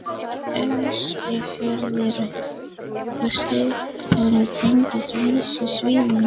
Eskifjörður og Stykkishólmur tengdust á vissum sviðum.